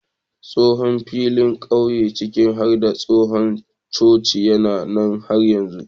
Tsohon filin ƙauye ciki har da tsohon coci yana nan har yanzu.